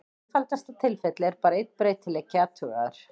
Í einfaldasta tilfelli er bara einn breytileiki athugaður.